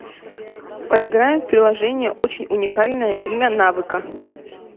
поиграем в приложение очень уникальное имя навыка